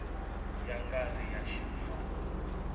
ya nga ri ya ximfumo